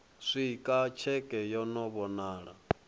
swika tsheke yo no vhonala